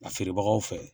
A feerebagaw fɛ